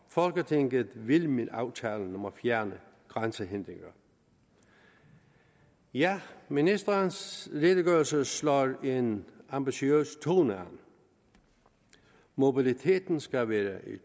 folketinget vil med aftalen om at fjerne grænsehindringer ja ministerens redegørelse slår en ambitiøs tone an mobiliteten skal være i